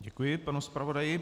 Děkuji panu zpravodaji.